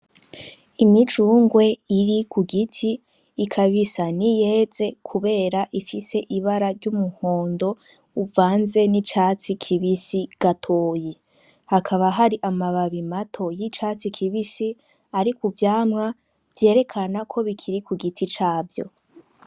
Imicungwe iri ku giti ikaba isa n'iyeze kubera ifise ibara ry'umuhondo uvanze n'icatsi kibisi gatoyi. Hakaba hari amababi mato y'icatsi kibisi ari ku vyamwa vyerekana ko bikiri ku giti cavyo.